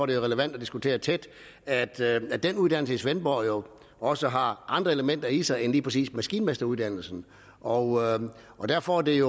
det relevant at diskutere tæt at at den uddannelse i svendborg også har andre elementer i sig end lige præcis maskinmesteruddannelsen og og derfor er det